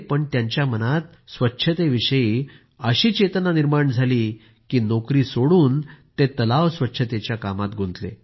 परंतु त्यांच्या मनात स्वच्छतेविषयी अशी चेतना निर्माण झाली की नोकरी सोडून ते तलाव स्वच्छ करण्याच्या कामात गुंतले